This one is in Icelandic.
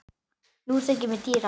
Nú þykir mér týra!